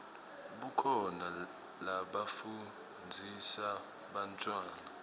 kukhona lafundzisa bantfwana